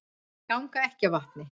Ganga ekki á vatni